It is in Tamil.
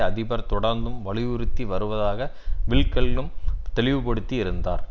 அதிபர் தொடர்ந்தும் வலியுறுத்தி வருவதாக வில்கெல்ம் தெளிவுபடுத்தி இருந்தார்